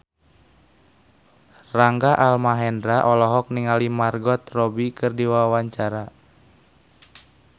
Rangga Almahendra olohok ningali Margot Robbie keur diwawancara